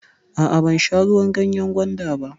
A'a, ban sha ruwan ganyan gwanda ba.